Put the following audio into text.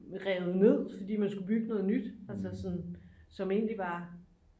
revet ned fordi man skulle bygge noget nyt altså sådan som egentlig var